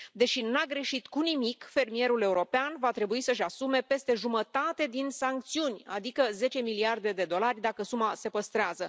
Deși n a greșit cu nimic, fermierul european va trebui să își asume peste jumătate din sancțiuni, adică 10 miliarde de dolari dacă suma se păstrează.